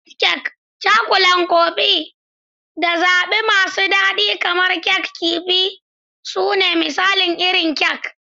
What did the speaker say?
Meat kek, Cakulan Kofin, da zaɓe masu daɗi kamar Kek Kifi su ne misalan irin kek.